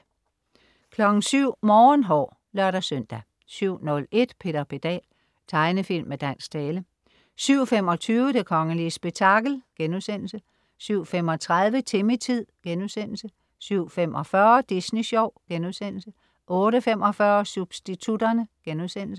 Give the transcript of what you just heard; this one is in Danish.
07.00 Morgenhår (lør-søn) 07.01 Peter Pedal. Tegnefilm med dansk tale 07.25 Det kongelige spektakel* 07.35 Timmy-tid* 07.45 Disney Sjov* 08.45 Substitutterne*